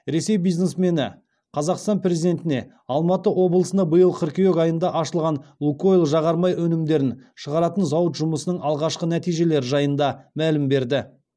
ресей бизнесмені қазақстан президентіне алматы облысында биыл қыркүйек айында ашылған лукойл жағармай өнімдерін шығаратын зауыт жұмысының алғашқы нәтижелері жайында мәлім берді